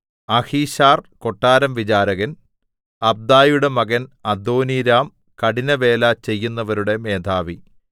Ahishar കൊട്ടാരംവിചാരകൻ അബ്ദയുടെ മകൻ അദോനീരാം കഠിനവേല ചെയ്യുന്നവരുടെ മേധാവി